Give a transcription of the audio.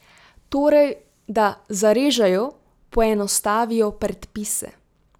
Torej, da zarežejo, poenostavijo predpise.